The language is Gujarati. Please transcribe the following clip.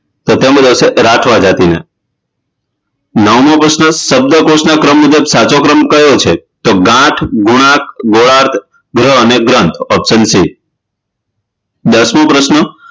તો તેમાં આવશે રાઠવા જાતિના નવમો પ્રશ્ન શબ્દકોશના ક્રમ મુજબ સાચો ક્રમ કયો છે ગાંઠ ગુણાંક ગોળાક કે ગ્રહ અને ગ્રંથ option C છે દશમો પ્રશ્ન